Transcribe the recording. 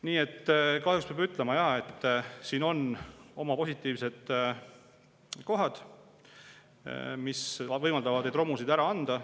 Nii et peab ütlema jah, et siin on oma positiivsed kohad: need, mis võimaldavad romusid ära anda.